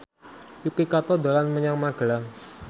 Yuki Kato dolan menyang Magelang